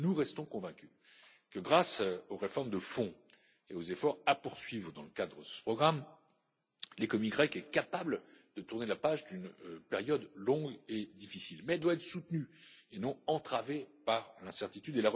Nous restons convaincus que, grâce aux réformes de fond et aux efforts à poursuivre dans le cadre de ce programme, l'économie grecque est capable de tourner la page d'une période longue et difficile, mais elle doit être soutenue, et non entravée par l'incertitude.